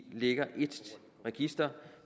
ligger i et register